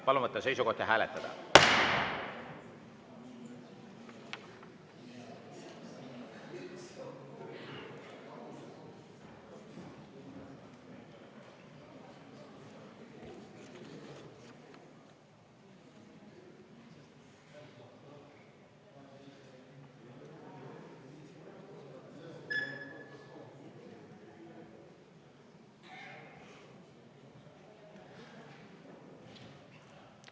Palun võtta seisukoht ja hääletada!